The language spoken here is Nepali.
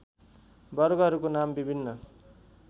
वर्गहरूको नाम विभिन्न